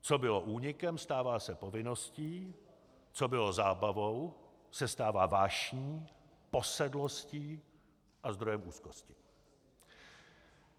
Co bylo únikem, stává se povinností, co bylo zábavou, se stává vášní, posedlostí a zdrojem úzkosti.